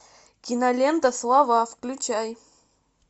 кинолента слова включай